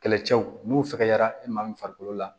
Kɛlɛcɛw n'u fɛgɛyara i maa min farikolo la